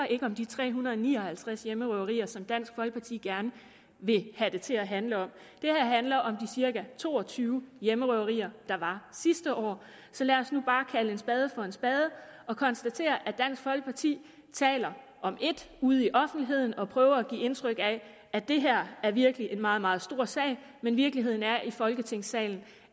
om de tre hundrede og ni og halvtreds hjemmerøverier som dansk folkeparti gerne vil have det til at handle om det her handler om de cirka to og tyve hjemmerøverier der var sidste år så lad os nu bare kalde en spade for en spade og konstatere at dansk folkeparti taler om et ude i offentligheden og prøver at give indtryk af at det her virkelig er en meget meget stor sag men virkeligheden her i folketingssalen